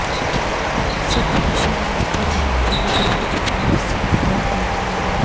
ਸਿੱਖ mission Hapur ਦੇ incharge Brijpal Singh ਨੂੰ ਡਾ